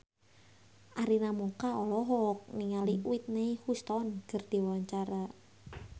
Arina Mocca olohok ningali Whitney Houston keur diwawancara